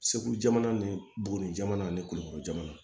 Segu jamana ni buguni jamana ani kuleforo jamana